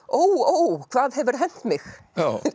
ó hvað hefur hent mig